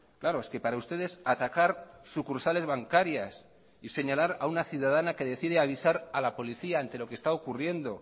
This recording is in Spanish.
claro es que para ustedes atacar sucursales bancarias y señalar a una ciudadana que decide avisar a la policía ante lo que está ocurriendo